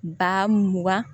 Ba mugan